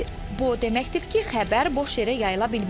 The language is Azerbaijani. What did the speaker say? Bu o deməkdir ki, xəbər boş yerə yayıla bilməz.